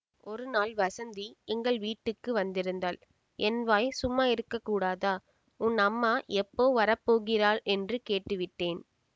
ஒரு நாள் வஸந்தி எங்கள் வீட்டுக்கு வந்திருந்தாள் என் வாய் சும்மா இருக்கக்கூடாதா உன் அம்மா எப்போ வர போகிறாள் என்று கேட்டு விட்டேன்